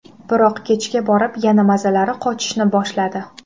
Biroq kechga borib yana mazalari qochishni boshladi.